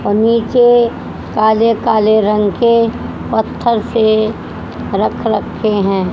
और निचे काले काले रंग के पत्थर से रख रखे हैं।